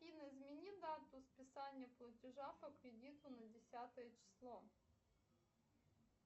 афина измени дату списания платежа по кредиту на десятое число